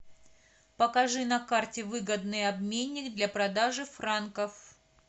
покажи на карте выгодный обменник для продажи франков